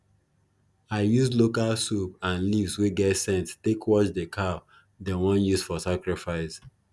i use local soap and leaves wey get scent take wash the cow dem wan use for sacrifice